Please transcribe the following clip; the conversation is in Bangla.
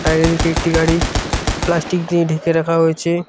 আর এদিকে একটি গাড়ি প্লাস্টিক দিয়ে ঢেকে রাখা হয়েছে।